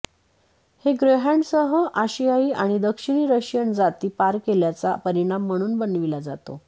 हे ग्रेहॉन्ड्ससह आशियाई आणि दक्षिणी रशियन जाती पार केल्याचा परिणाम म्हणून बनविला जातो